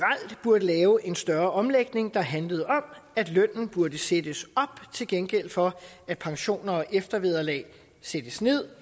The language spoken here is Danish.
burde lave en større omlægning der handlede om at lønnen burde sættes op til gengæld for at pensioner og eftervederlag sattes nederst